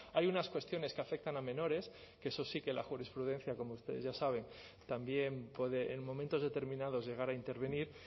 hay unas cuestiones que afectan a menores que eso sí que la jurisprudencia como ustedes ya saben también puede en momentos determinados llegar a intervenir